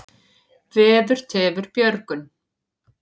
Veður tefur björgun.